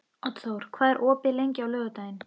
Oddþór, hvað er opið lengi á laugardaginn?